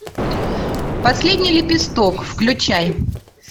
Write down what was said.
последний лепесток включай